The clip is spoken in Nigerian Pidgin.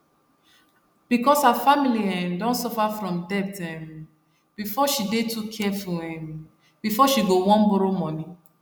because her family um don suffer from debt um before she dey too careful um before she go wan borrow money